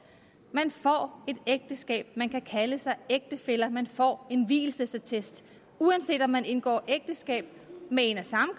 man får et ægteskab man kan kalde sig ægtefæller og man får en vielsesattest uanset om man indgår ægteskab med en af samme